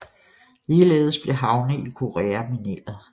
Ligeledes blev havne i Korea mineret